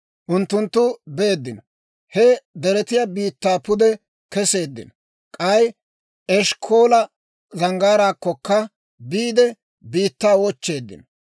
Unttunttu beeddino; he deretiyaa biittaa pude keseeddino; k'ay Eshkkoola Zanggaaraakkokka biide, biittaa wochcheeddino.